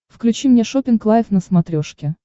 включи мне шоппинг лайф на смотрешке